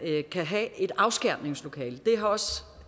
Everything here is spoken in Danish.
kan have et afskærmningslokale